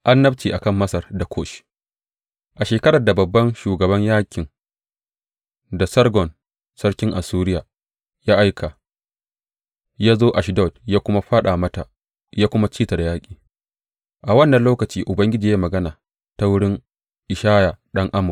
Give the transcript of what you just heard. Annabci a kan Masar da Kush A shekarar da babban shugaban yaƙin da Sargon sarkin Assuriya ya aika, ya zo Ashdod ya kuma fāɗa mata ya kuma ci ta da yaƙi, a wannan lokaci Ubangiji ya yi magana ta wurin Ishaya ɗan Amoz.